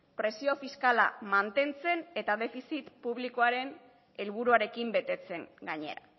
presio fiskala mantentzen eta defizit publikoaren helburuarekin betetzen gainera